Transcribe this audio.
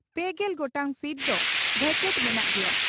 ᱯᱮᱜᱮᱞ ᱜᱚᱴᱟᱝ ᱥᱤᱴ ᱫᱚ ᱵᱷᱮᱠᱮᱴ ᱢᱮᱱᱟᱜ ᱜᱮᱭᱟ ᱾